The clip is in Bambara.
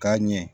K'a ɲɛ